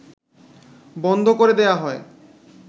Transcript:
বন্ধ করে দেয়া হয়